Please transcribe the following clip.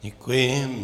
Děkuji.